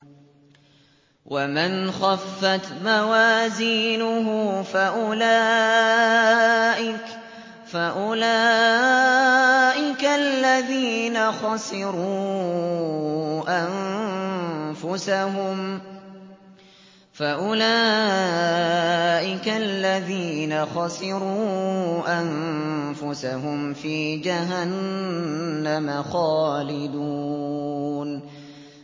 وَمَنْ خَفَّتْ مَوَازِينُهُ فَأُولَٰئِكَ الَّذِينَ خَسِرُوا أَنفُسَهُمْ فِي جَهَنَّمَ خَالِدُونَ